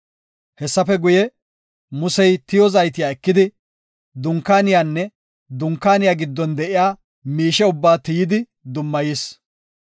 Hessafe guye Musey tiyo zaytiya ekidi, Dunkaaniyanne Dunkaaniya giddon de7iya miishe ubbaa tiyidi dummayis.